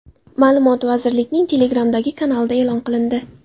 Ma’lumot vazirlikning Telegram’dagi kanalida e’lon qilindi .